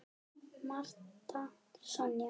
Marta Sonja.